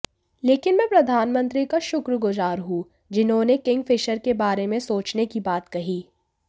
लेकिन मैं प्रधानमंत्री का शुक्रगुजार हूं जिन्होंने किंगफिशर के बारे में सोचने की बात कही